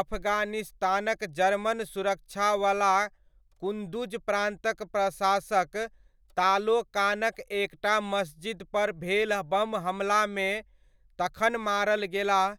अफगानिस्तानक German सुरक्षा वला कुंदुज प्रान्तक प्रशासक तालोकानक एकटा मस्जिद पर भेल बम हमलामे तखन मारल गेलाह